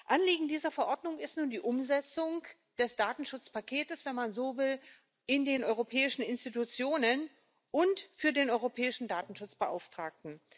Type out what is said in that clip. Anliegen dieser Verordnung ist nun die Umsetzung des Datenschutzpakets wenn man so will in den europäischen Institutionen und für den Europäischen Datenschutzbeauftragten.